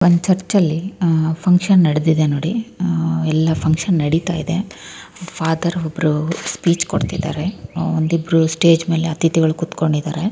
ಒಂದ್ ಚರ್ಚ ಅಲ್ಲಿ ಆಹ್ಹ್ ಫಂಕ್ಷನ್ ನಡೆದಿದೆ ನೋಡಿ ಆಹ್ಹ್ ಎಲ್ಲ ಫಂಕ್ಷನ್ ನಡೀತಾ ಇದೆ. ಫಾದರ್ ಒಬ್ಬರು ಸ್ಪೀಚ್ ಕೊಡ್ತಿದಾರೆ. ಅಹ್ ಒಂದ್ ಇಬ್ಬರು ಸ್ಟೇಜ್ ಮೇಲೆ ಅತಿಥಿಗಳು ಕೂತ್ಕೊಂಡಿದ್ದಾರೆ.